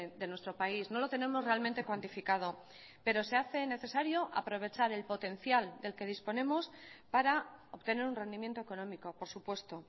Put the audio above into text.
de nuestro país no lo tenemos realmente cuantificado pero se hace necesario aprovechar el potencial del que disponemos para obtener un rendimiento económico por supuesto